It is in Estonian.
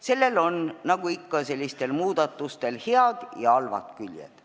Sellel on, nagu ikka sellistel muudatustel, head ja halvad küljed.